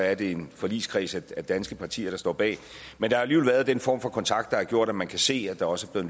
er det en forligskreds af danske partier der står bag men der har jo været den form for kontakt der har gjort at man kan se at der også er